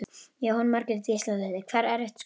Jóhanna Margrét Gísladóttir: Hvað er erfitt skot?